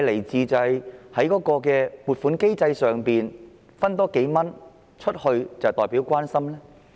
是否在撥款機制下多撥出數元便代表關懷呢？